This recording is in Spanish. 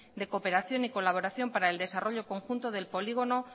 de cooperación y colaboración para el desarrollo conjunto del polígono